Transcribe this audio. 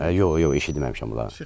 Yox, yox, eşitməmişəm onları.